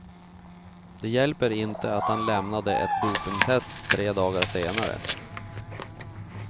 Det hjälper inte att han lämnade ett dopingtest tre dagar senare.